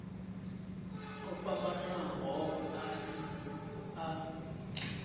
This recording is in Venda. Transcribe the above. o fhambanaho a si a